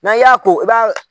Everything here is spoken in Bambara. N'an y'a ko i b'a.